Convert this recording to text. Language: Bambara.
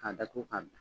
K'a datugu ka bila